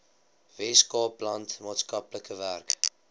weskaapland maatskaplike werk